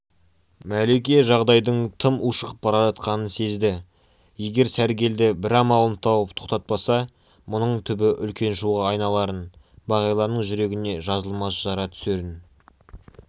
мәлике жағдайдың тым ушығып бара жатқанын сезді егер сәргелді бір амалын тауып тоқтатпаса мұның түбі үлкен шуға айналарын бағиланың жүрегіне жазылмас жара түсерін